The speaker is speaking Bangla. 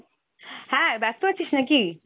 হ্যাঁ ব্যস্ত আছিস নাকি?